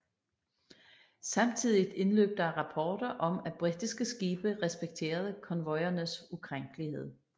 Samtidigt indløb der rapporter om at britiske skibe respekterede konvojernes ukrænkelighed